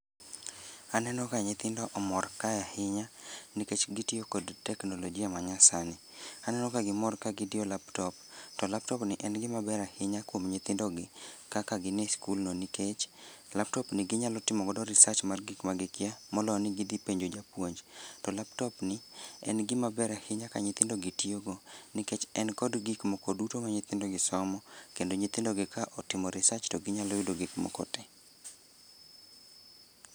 Aneno ka nyithindo omor kae ahinya nikech gitiyo kod teknolojia manyasani. Aneno ka gimor ka gidiyo laptop to laptopni en gima ber ahinya kuom nyithindogi kaka gin e skulno nikech laptopni ginyalo timogodo research mar gik magikia molo ni gidhi penjo japuonj to laptopni en gimaber ahinya ka nyithindogi tiyogo nikech en kod gikmoko duto ma nyithindogi somo kendo nyithindogi ka otimo reaserch to ginyalo yudo gikmoko te.